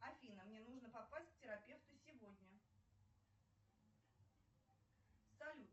афина мне нужно попасть к терапевту сегодня салют